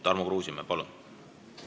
Tarmo Kruusimäe, palun!